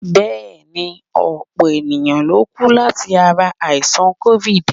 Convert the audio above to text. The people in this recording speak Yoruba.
Bẹ́ẹ̀ ni, ọ̀pọ̀ èèyàn lókú láti ara àìsàn COVID.